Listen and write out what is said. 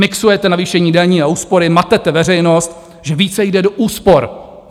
Mixujete navýšení daní a úspory, matete veřejnost, že více jde do úspor.